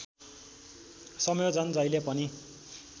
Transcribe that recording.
संयोजन जहिले पनि